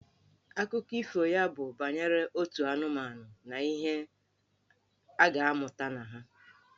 Akụkọ ifo ya bụ banyere otu anụmanụ na ihe a ga-amụta na ha.